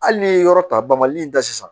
Hali n'i ye yɔrɔ ta bali in ta sisan